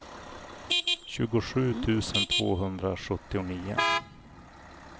tjugosju tusen tvåhundrasjuttionio